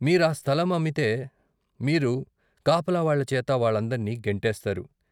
మీరు ఆ స్థలం అమ్మితే మీరు కాపలా వాళ్ళ చేత వాళ్ళందర్నీ గెంటిస్తారు.